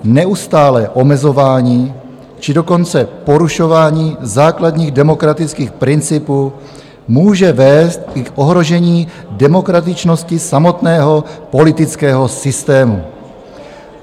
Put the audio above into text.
Neustálé omezování či dokonce porušování základní demokratických principů může vést i k ohrožení demokratičnosti samotného politického systému.